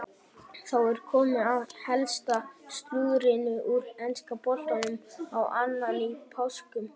Þá er komið að helsta slúðrinu úr enska boltanum á annan í páskum.